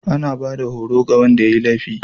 anabada horo ga Wanda yayi laifi